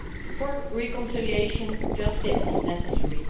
For reconciliation, justice is necessary.